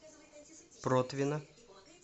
протвино